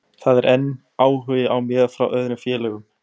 Það er enn áhugi á mér frá öðrum félögum.